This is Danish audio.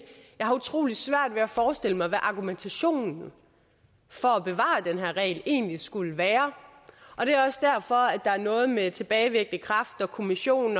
jeg har utrolig svært ved at forestille mig hvad argumentationen for at bevare den her regel egentlig skulle være og det er også derfor at der er noget med tilbagevirkende kraft og kommission